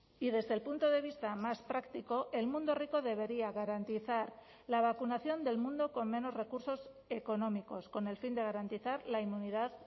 y desde el punto de vista más práctico el mundo rico debería garantizar la vacunación del mundo con menos recursos económicos con el fin de garantizar la inmunidad